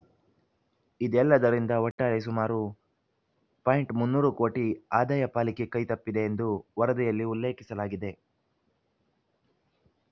ಇದೆಲ್ಲದರಿಂದ ಒಟ್ಟಾರೆ ಸುಮಾರು ಪಾಯಿಂಟ್ ಮುನ್ನೂರು ಕೋಟಿ ಆದಾಯ ಪಾಲಿಕೆ ಕೈತಪ್ಪಿದೆ ಎಂದು ವರದಿಯಲ್ಲಿ ಉಲ್ಲೇಖಿಸಲಾಗಿದೆ